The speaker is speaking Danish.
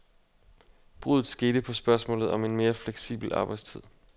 Bruddet skete på spørgsmålet en mere fleksibel arbejdstid.